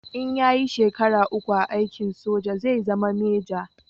In ya yi shekara uku a aikin soja zai zama meja